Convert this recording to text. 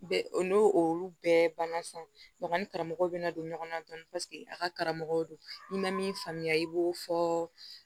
Bɛ o n'o olu bɛɛ banna sanni karamɔgɔw bɛ na don ɲɔgɔn na tɔn paseke a ka karamɔgɔw don n'i ma min faamuya i b'o fɔ